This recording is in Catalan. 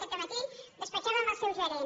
aquest dematí despatxava amb el seu gerent